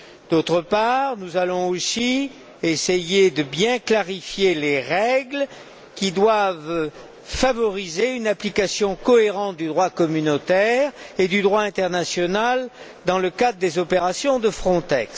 D'autre part, nous allons aussi essayer de bien clarifier les règles qui doivent favoriser une application cohérente du droit communautaire et du droit international dans le cadre des opérations de Frontex.